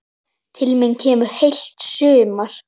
Til mín kemur heilt sumar.